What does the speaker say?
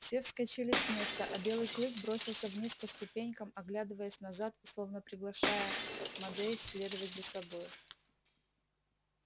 все вскочили с места а белый клык бросился вниз по ступенькам оглядываясь назад и словно приглашая модей следовать за собой